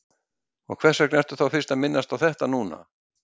Og hvers vegna ertu þá fyrst að minnast á þetta núna?